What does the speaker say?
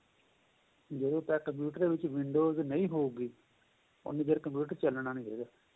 ਜਦੋਂ ਤੱਕ computer ਦੇ ਵਿੱਚ windows ਨਹੀਂ ਹੋਊਗੀ ਉਹਨੀ ਦੇਰ computer ਚੱਲਣਾ ਨਹੀਂ ਹੈਗਾ